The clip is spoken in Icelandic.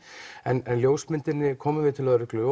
en ljósmyndinni komum við til lögreglu